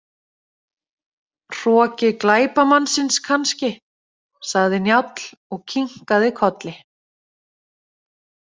Hroki glæpamannsins kannski, sagði Njáll og kinkaði kolli.